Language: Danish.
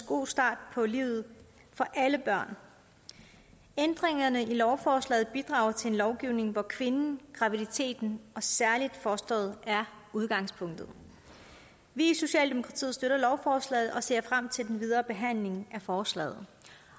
god start på livet for alle børn ændringerne i lovforslaget bidrager til en lovgivning hvor kvinden graviditeten og særlig fostret er udgangspunktet vi i socialdemokratiet støtter lovforslaget og ser frem til den videre behandling af forslaget